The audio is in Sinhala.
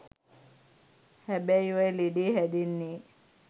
හැබැයි ඔය ලෙඩේ හැදෙන්නෙ